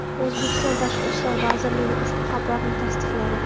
O‘zbekiston Tashqi ishlar vazirligi ushbu xabarni tasdiqladi .